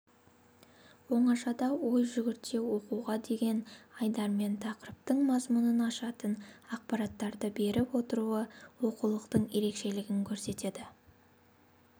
оңашада ой жүгірте оқуға деген айдармен тақырыптың мазмұнын ашатын ақпараттарды беріп отыруы оқулықтың ерекшелігін көрсетеді